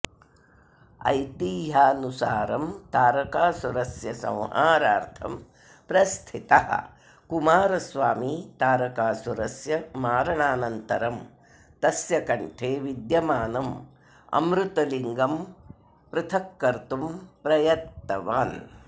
ऐतिह्यानुसारं तारकासुरस्य संहारार्थं प्रस्थितः कुमारस्वामी तारकासुरस्य मारणानन्तरं तस्य कण्ठे विद्यमानम् अमृतलिङ्गं पृथक्कर्तुं प्रयत्तवान्